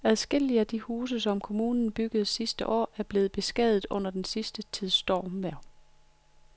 Adskillige af de huse, som kommunen byggede sidste år, er blevet beskadiget under den sidste tids stormvejr.